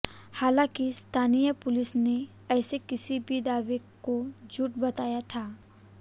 हालांकि स्थानीय पुलिस ने ऐसे किसी भी दावे को झूठ बताया था